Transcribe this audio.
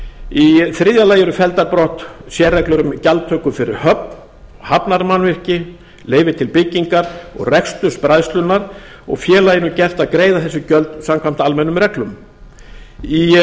í þriðja lagi eru felldar brott sérreglur um gjaldtöku fyrir höfn hafnarmannvirki leyfi til byggingar og reksturs bræðslunnar og félaginu gert að greiða þessi gjöld samkvæmt almennum reglum í